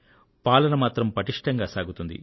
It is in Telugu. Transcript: పాలన మాత్రం పటిష్టంగా సాగుతుంది